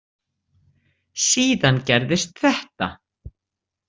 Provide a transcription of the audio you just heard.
Síðan gerðist þetta.